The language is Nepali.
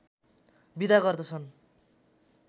बिदा गर्दछन्